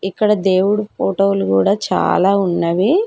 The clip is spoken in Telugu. ఇక్కడ దేవుడు ఫోటో లు కూడా చాలా ఉన్నవి.